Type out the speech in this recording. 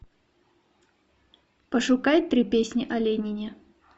пошукай три песни о ленине